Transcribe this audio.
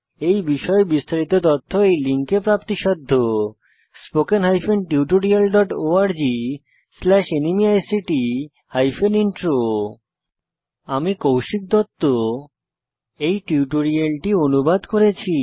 এই বিষয়ে বিস্তারিত তথ্য এই লিঙ্কে প্রাপ্তিসাধ্য spoken hyphen tutorial dot org slash NMEICT hyphen intro আমি কৌশিক দত্ত এই টিউটোরিয়ালটি অনুবাদ করেছি